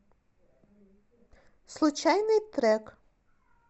случайный трек